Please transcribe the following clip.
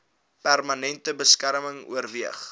permanente beskerming oorweeg